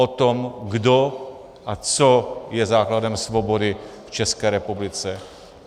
O tom, kdo a co je základem svobody v České republice.